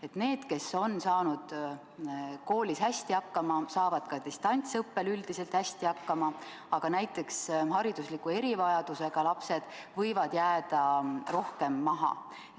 Et need, kes on saanud koolis hästi hakkama, saavad ka distantsõppel üldiselt hästi hakkama, aga näiteks haridusliku erivajadusega lapsed võivad jääda rohkem maha.